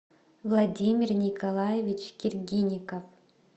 владимир николаевич киргиников